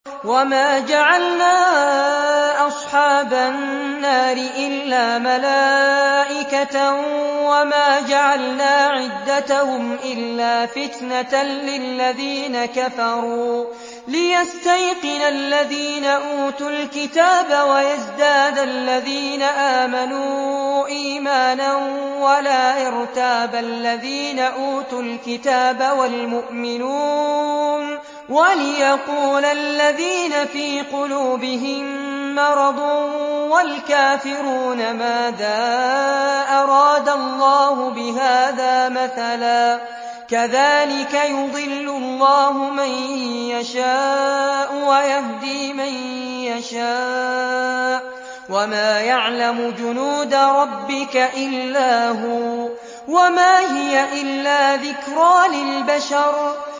وَمَا جَعَلْنَا أَصْحَابَ النَّارِ إِلَّا مَلَائِكَةً ۙ وَمَا جَعَلْنَا عِدَّتَهُمْ إِلَّا فِتْنَةً لِّلَّذِينَ كَفَرُوا لِيَسْتَيْقِنَ الَّذِينَ أُوتُوا الْكِتَابَ وَيَزْدَادَ الَّذِينَ آمَنُوا إِيمَانًا ۙ وَلَا يَرْتَابَ الَّذِينَ أُوتُوا الْكِتَابَ وَالْمُؤْمِنُونَ ۙ وَلِيَقُولَ الَّذِينَ فِي قُلُوبِهِم مَّرَضٌ وَالْكَافِرُونَ مَاذَا أَرَادَ اللَّهُ بِهَٰذَا مَثَلًا ۚ كَذَٰلِكَ يُضِلُّ اللَّهُ مَن يَشَاءُ وَيَهْدِي مَن يَشَاءُ ۚ وَمَا يَعْلَمُ جُنُودَ رَبِّكَ إِلَّا هُوَ ۚ وَمَا هِيَ إِلَّا ذِكْرَىٰ لِلْبَشَرِ